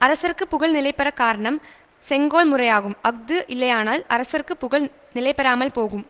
அரசர்க்கு புகழ் நிலைபெறக் காரணம் செங்கோல் முறையாகும் அஃது இல்லையானால் அரசர்க்கு புகழ் நிலைபெறாமல் போகும்